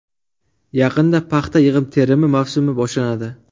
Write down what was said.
Yaqinda paxta yig‘im-terimi mavsumi boshlanadi.